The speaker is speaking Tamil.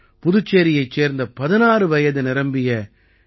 புதுச்சேரியைச் சேர்ந்த 16 வயது நிரம்பிய டி